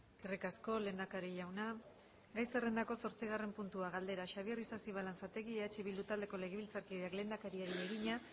eskerrik asko lehendakari jauna gai zerrendako zortzigarren puntua galdera xabier isasi balanzategi eh bildu taldeko legebiltzarkideak lehendakariari egina